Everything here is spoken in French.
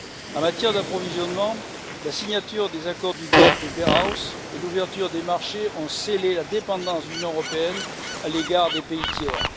En matière d'approvisionnement, la signature des accords du GATT et de Blair House ainsi que l'ouverture des marchés ont scellé la dépendance de l'Union européenne à l'égard des pays tiers.